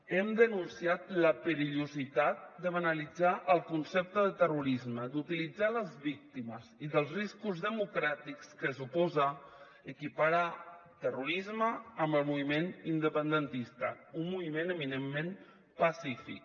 hem denunciat la perillositat de banalitzar el concepte de terrorisme d’utilitzar les víctimes i dels riscos democràtics que suposa equiparar terrorisme amb el moviment independentista un moviment eminentment pacífic